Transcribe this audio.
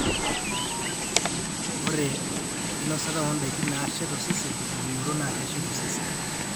ore enkinosata o ndaikin naashet osesen tenkipimoto naa keshet osesen